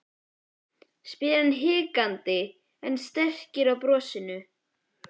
spyr hann hikandi en strekkir á brosinu.